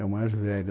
É o mais velho.